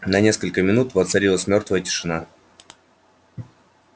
на несколько минут воцарилась мёртвая тишина